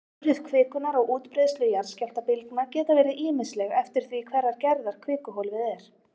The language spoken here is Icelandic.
Áhrif kvikunnar á útbreiðslu jarðskjálftabylgna geta verið ýmisleg eftir því hverrar gerðar kvikuhólfið er.